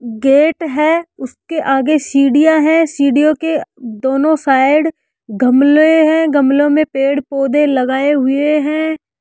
Gate है उसके आगे सीढ़ियां हैं सीढ़ियों के दोनों साइड गमले हैं गमलों में पेड़ पौधे लगाए हुए हैं।